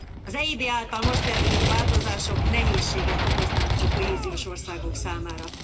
Az EIB által most tervezett változások nehézséget okoznának a kohéziós országok számára.